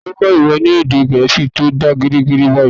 Ta lo kó̩ ìwọ ni èdè gẹẹsi to da geerege bayi?